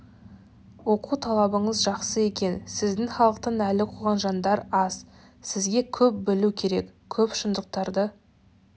оқу талабыңыз жақсы екен сіздің халықтан әлі оқыған жандар аз сізге көп білу керек көп шындықтарды